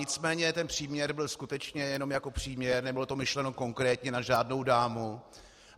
Nicméně ten příměr byl skutečně jenom jako příměr, nebylo to myšleno konkrétně na žádnou dámu.